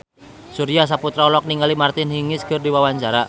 Surya Saputra olohok ningali Martina Hingis keur diwawancara